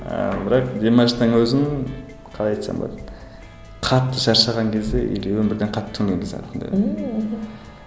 ыыы бірақ димаштың өзін қалай айтсам болады қатты шаршаған кезде или өмірден қатты түңілген кезде ғана тыңдаймын ммм мхм